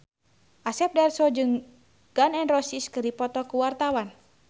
Asep Darso jeung Gun N Roses keur dipoto ku wartawan